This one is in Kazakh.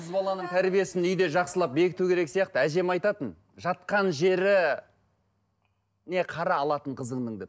қыз баланың тәрбиесін үйде жақсылап бекіту керек сияқты әжем айтатын жатқан жері қара алатын қызыңның деп